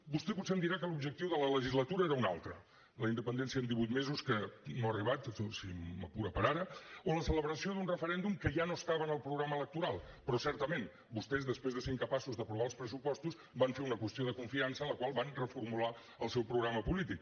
vostè potser em dirà que l’objectiu de la legislatura era un altre la independència en divuit mesos que no ha arribat si m’apura per ara o la celebració d’un referèndum que ja no estava en el programa electoral però certament vostès després de ser incapaços d’aprovar els pressupostos van fer una qüestió de confiança en la qual van reformular el seu programa polític